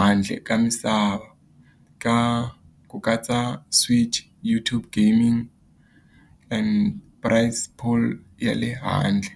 handle ka misava ka ku katsa Switch, YouTube gaming and ya le handle.